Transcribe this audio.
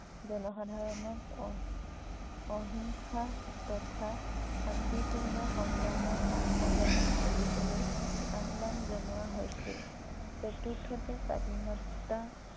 জনসাধাৰনক অহিংসা তথা শান্তি পূৰ্ণ সংগ্ৰামত অংশগ্ৰহন কৰিবলৈ আহ্বান জনোৱা হৈছিল । চতুৰ্থতে স্বাধীনতা